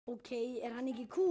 Ok, er hann ekki kúl?